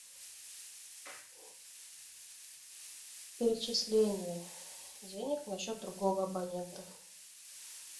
перечисление денег на счет другого абонента